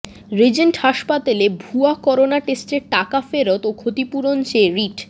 Regent হাসপাতালে ভুয়া corona টেস্টের টাকা ফেরত ও ক্ষতিপূরণ চেয়ে রিট